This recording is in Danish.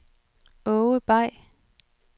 Aage Bay